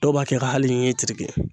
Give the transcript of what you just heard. Dɔw b'a kɛ ka hali ɲi tereke.